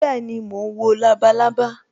Bẹẹni, mo ń wo labalábá